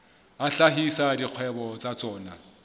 a hlahisa dikgwebo tsa tsona